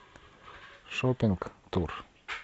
шоппинг тур